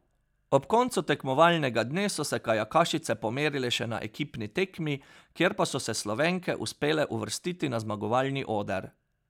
Ob koncu tekmovalnega dne so se kajakašice pomerile še na ekipni tekmi, kjer pa so se Slovenke uspele uvrstiti na zmagovalni oder.